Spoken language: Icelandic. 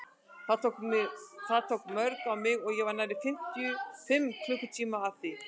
Það tók mjög á mig og ég var nærri fimm klukkutíma að því.